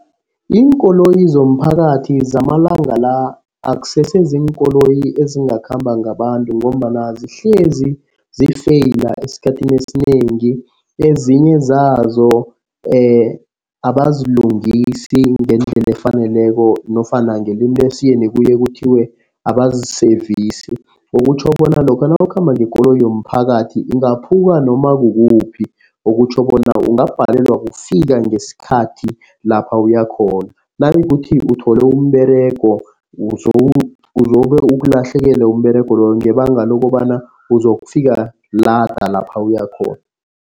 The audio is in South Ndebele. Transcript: Iinkoloyi zomphakathi zamalanga la akusese ziinkoloyi ezingakhamba ngabantu ngombana sihlezi zifeyila esikhathini esinengi. Ezinye zazo abazilungisi ngendlela efaneleko nofana ngelimi lesiyeni kuye kuthiwe abaziseyvisi. Okutjho bona lokha nawukhamba ngekoloyi yomphakathi ingaphuka noma kukuphi. Okutjho bona ungabhalelwa kufika ngesikhathi lapha uyakhona. Nayikuthi uthole umberego uzobe ukulahlekele umberego loyo ngebanga lokobana uzokufika lada lapha uyakhona.